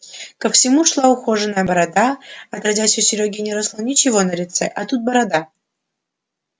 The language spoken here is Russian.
ко всему шла ухоженная борода отродясь у серёги не росло ничего на лице а тут борода